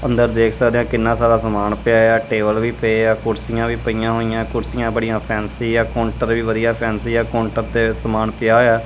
ਅੰਦਰ ਦੇਖ ਸਕਦੇ ਹਾਂ ਕਿੰਨਾਂ ਸਾਰਾ ਸਮਾਨ ਪਿਆ ਆ ਟੇਬਲ ਵੀ ਪਏ ਆ ਕੁਰਸੀਆਂ ਵੀ ਪਈਆਂ ਹੋਈਆਂ ਕੁਰਸੀਆਂ ਬੜੀਆਂ ਫੈਂਸੀ ਹੈਂ ਕਾਉੰਟਰ ਵੀ ਵਧੀਆ ਫੈਂਸੀ ਹੈ ਕਾਉੰਟਰ ਤੇ ਸਮਾਨ ਪਿਆ ਹੋਇਆ।